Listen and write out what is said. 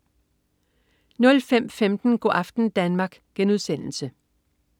05.15 Go' aften Danmark*